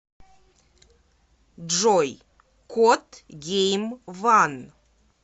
джой кот гейм ван